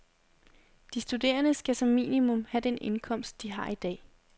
De studerende skal som minimum have den indkomst, de har i dag.